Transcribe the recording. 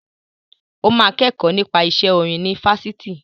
Ó máa kẹ́kọ̀ọ́ nípa iṣẹ́ orin ní Fáṣítì.